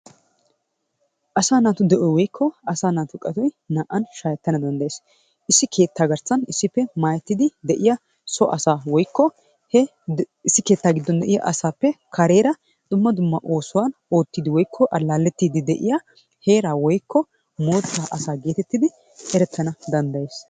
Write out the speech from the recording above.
Asaa naatu de'oy woykko asaa naatu qatoy naa'an shaahettana dandayees. Issi keettaa garssan issippe maayettidi de'iyaa so ass woykko he issi keettaa gidon de'iyaa asaappe kareera dumma dumma oosuwa oottidi woykko allalettidi de'iya heeraa woykko mootta asaa geetettidi eretanna dandayees.